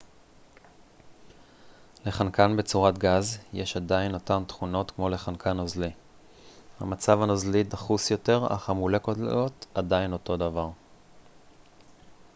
לחנקן בצורת גז יש עדיין אותן תכונות כמו לחנקן נוזלי המצב הנוזלי דחוס יותר אך המולקולות עדיין אותו דבר